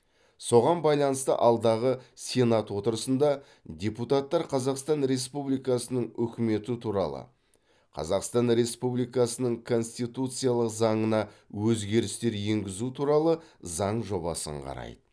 соған байланысты алдағы сенат отырысында депутаттар қазақстан республикасының үкіметі туралы қазақстан республикасының конституциялық заңына өзгерістер енгізу туралы заң жобасын қарайды